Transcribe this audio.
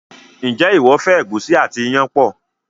njé iwọ fẹ egusi àti iyán pọ?